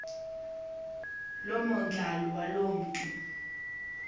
lomandlalo waloo mntu